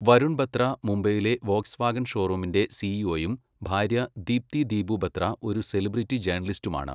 വരുൺ ബത്ര മുംബൈയിലെ Volkswagen ഷോറൂമിന്റെ സിഇഒയും ഭാര്യ ദീപ്തി ദീപു ബത്ര ഒരു സെലിബ്രിറ്റി ജേർണലിസ്റ്റുമാണ്.